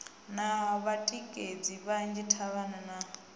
na vhatikedzi vhanzhi davhana u